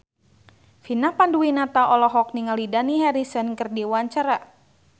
Vina Panduwinata olohok ningali Dani Harrison keur diwawancara